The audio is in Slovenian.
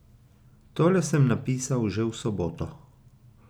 Tole sem napisal že v soboto.